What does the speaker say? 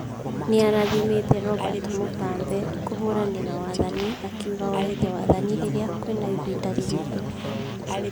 Niarathimete Robert Mugambe kũbũranira wathani akiuga oete wathani rĩrĩ a kwĩ na ĩ binda rĩritũ .